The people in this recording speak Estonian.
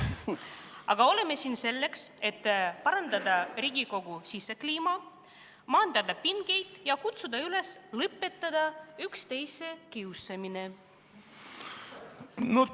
Aga oleme siin selleks, et parandada Riigikogu sisekliimat, maandada pingeid ja kutsuda üles: lõpetada üksteise kiusamine!